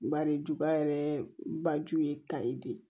Bari duba yɛrɛ ba ju ye tayi de ye